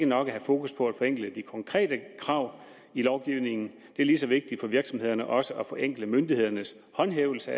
nok at have fokus på at forenkle de konkrete krav i lovgivningen det er lige så vigtigt for virksomhederne også at forenkle myndighedernes håndhævelse